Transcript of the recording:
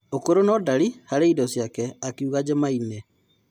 "'ũkũrũ no-ndari harĩ indo ciake," akĩuga jumaine.